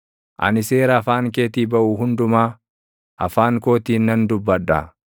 Ani seera afaan keetii baʼu hundumaa, afaan kootiin nan dubbadha.